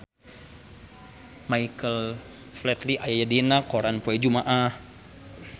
Michael Flatley aya dina koran poe Jumaah